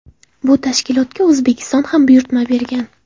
Bu tashkilotga O‘zbekiston ham buyurtma bergan.